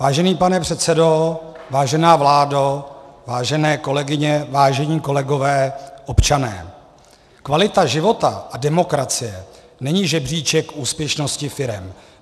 Vážený pane předsedo, vážená vládo, vážené kolegyně, vážení kolegové, občané, kvalita života a demokracie není žebříček úspěšnosti firem.